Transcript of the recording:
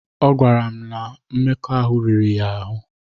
Ọ gwara m na mmekọahụ riri ya ahụ́.